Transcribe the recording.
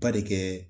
Ba de kɛ